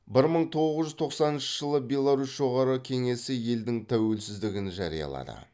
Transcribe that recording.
бір мың тоғыз жүз тоқсаныншы жылы беларусь жоғарғы кеңесі елдің тәуелсіздігін жариялады